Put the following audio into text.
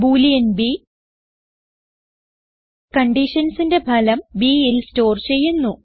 boolean b conditionsന്റെ ഫലം bൽ സ്റ്റോർ ചെയ്യുന്നു